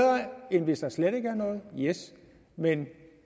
end hvis der slet ikke er noget yes men